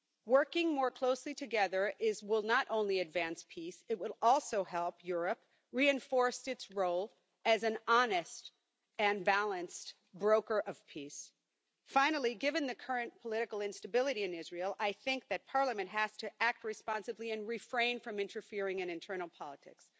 Working more closely together will not only advance peace, it will also help Europe reinforce its role as an honest and balanced broker of peace. Finally, given the current political instability in Israel, I think that Parliament has to act responsibly and refrain from interfering in internal politics.